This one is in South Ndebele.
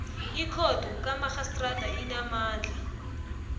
ikhotho kamarhistrada enamandla